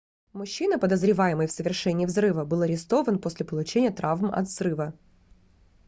мужчина подозреваемый в совершении взрыва был арестован после получения травм от взрыва